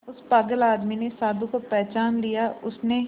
उस पागल आदमी ने साधु को पहचान लिया उसने